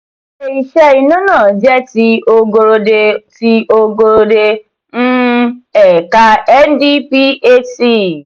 ilé-iṣẹ iná náà jẹ ti ogorode ti ogorode um ẹka ndphc.